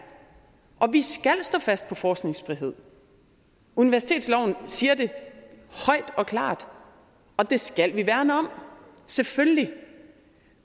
og vi skal stå fast på forskningsfrihed universitetsloven siger det højt og klart og det skal vi værne om selvfølgelig